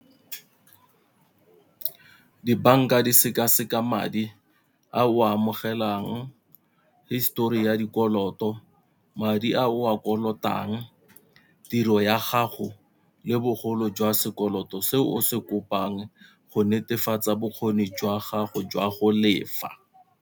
Dibanka di seka-seka madi a o a amogelang histori ya dikoloto, madi a o a kolotang, tiro ya gago le bogolo jwa sekoloto se o se kopang go netefatsa bokgoni jwa gago jwa go lefa.